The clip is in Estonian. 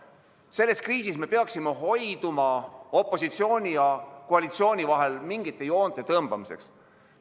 Selles kriisis me peaksime hoiduma opositsiooni ja koalitsiooni vahel mingite joonte tõmbamisest.